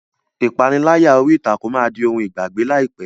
Ìpániláyà orí ìtàkùn máa di ohun ìgbàgbé láìpẹ́.